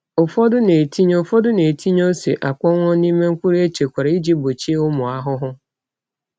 Ụfọdụ na-etinye Ụfọdụ na-etinye ose akpọnwụ n’ime mkpụrụ echekwara iji gbochie ụmụ ahụhụ.